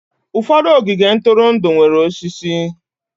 Ụfọdụ ogige ntụrụndụ nwere osisi.